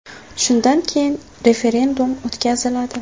Shundan keyin referendum o‘tkaziladi.